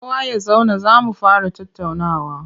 Kowa ya zauna za mu fara tattaunawa!